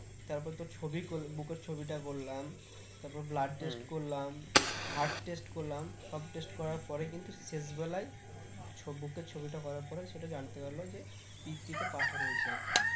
তারপর তোর ছবি কর~ বুকের ছবিটা করলাম তারপর blood test করলাম heart test করলাম সব test করার পরে কিন্তু শেষ বেলায় ছবি বুকের ছবিটা করার পরে সেটা জানতে পারলাম যে পিত্তি তে পাথর হয়েছে আর কি